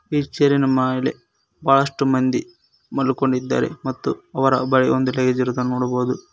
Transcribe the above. ಈ ಚೇರಿ ನ ಮಾಲೆ ಬಹಳಷ್ಟು ಮಂದಿ ಮಲ್ಕೊಂಡಿದ್ದಾರೆ ಮತ್ತು ಅವರ ಬಳಿ ಒಂದು ಲೆಸ್ ಇರುದು ನೋಡಬಹುದು.